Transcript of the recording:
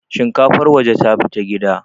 shinkafar waje ta fita gida